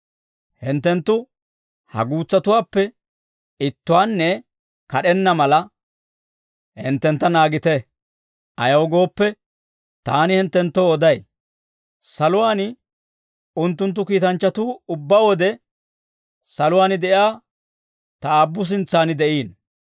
«Hinttenttu ha guutsatuwaappe ittuwaanne kad'enna mala, hinttentta naagite; ayaw gooppe, taani hinttenttoo oday; saluwaan unttunttu kiitanchchatuu ubbaa wode, saluwaan de'iyaa ta Aabbu sintsaan de'iino.